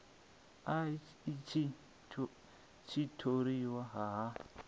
a itshi tshiṱori a a